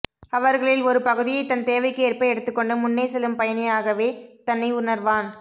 அவர்களில் ஒரு பகுதியை தன் தேவைக்கு ஏற்ப எடுத்துக்கொண்டு முன்னே செல்லும் பயணியாகவே தன்னை உணர்வான்